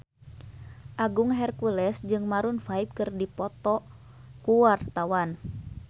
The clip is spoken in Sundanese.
Agung Hercules jeung Maroon 5 keur dipoto ku wartawan